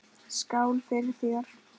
Skál fyrir þér.